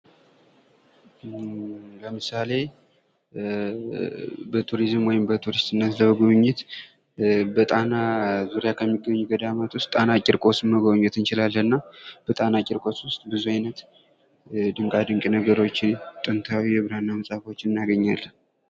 ለምሳሌ በቱሪዝም ወይም በቱሪስትነት ለመጎብኘት በጣና ዙሪያ ከሚገኙ ገዳማት ውስጥ ጣና ቂርቆስ መጎብኘት እንችላለን። እና በጣና ቂርቆስ ውስጥ ብዙ አይነት ድንቃድንቅ ነገሮችን ጥንታዊ የብራና መጻፎችን እናገኛለን።